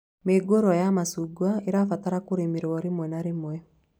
Mĩũngurwa ya macungwa ĩbataraga kũrĩmĩrwo rĩmwe na rĩmwe